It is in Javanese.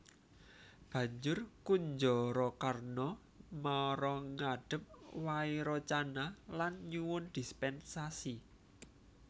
Banjur Kunjarakarna mara ngadhep Wairocana lan nyuwun dispènsasi